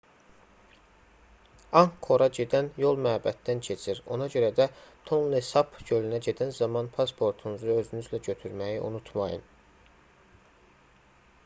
anqkora gedən yol məbəddən keçir ona görə də tonle sap gölünə gedən zaman pasportunuzu özünüzlə götürməyi unutmayın